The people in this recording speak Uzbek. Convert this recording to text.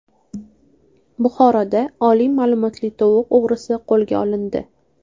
Buxoroda oliy ma’lumotli tovuq o‘g‘risi qo‘lga olindi.